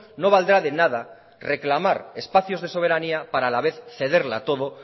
no valdrá de nada reclamar espacios de soberanía para la vez cederla todo